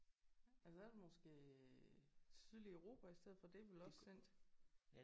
Ja så er det måske sydlige Europa i stedet for. Det er vel også cent?